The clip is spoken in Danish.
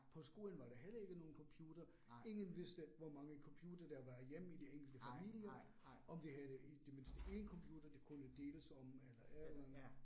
På skolen var der heller ikke nogen computer, ingen vidste hvor mange computere, der var hjemme i de enkelte familie, om de havde i det mindste én computer, de kunne deles om eller et eller andet